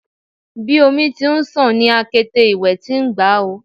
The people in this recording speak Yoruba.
Bi omi ti n ṣàn ni akete iwẹ ti n gba o